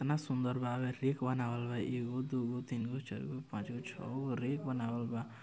ईतना सुन्दर बावे रैक बनावल बा एगो दुगो तीन गो चारगो पाँचगो छओ रैक बनावल बा--